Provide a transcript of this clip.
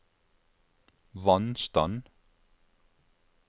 vannstand